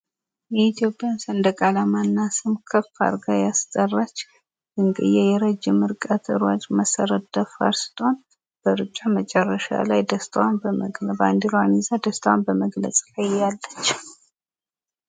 የኢትዮጵያን ሰንደቅ አልማ እና ስም ከፍ አድርጋ ያስጠራች ድንቅዬ የረጅም ርቀት ሯጭ መሰረት ደፋር ስትሆን በሩጫ መጨረሻ ላይ ባንዲራዋን ይዛ ደስታዋን በመግለጽ ላይ እያለጭ